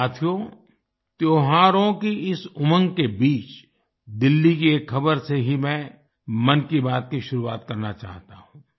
साथियो त्योहारों की इस उमंग के बीच दिल्ली की एक खबर से ही मैं मन की बात की शुरुआत करना चाहता हूँ